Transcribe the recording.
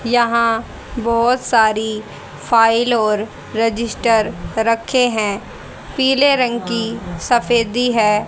यहां बहोत सारी फाइल और रजिस्टर रखे हैं पीले रंग की सफेदी हैं।